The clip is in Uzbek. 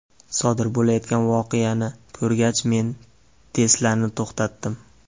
Sodir bo‘layotgan voqeani ko‘rgach, men Tesla’ni to‘xtatdim.